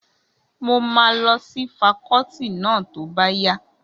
Mo máa lọ sí fakọ́ọ́tì náà tó bá yá.